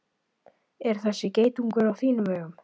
Er þessi geitungur á þínum vegum?